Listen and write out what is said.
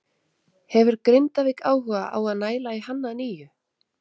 Hefur Grindavík áhuga á að næla í hann að nýju?